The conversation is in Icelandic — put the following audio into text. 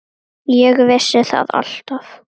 Ég vissi það alltaf.